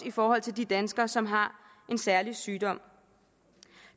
i forhold til de danskere som har en særlig sygdom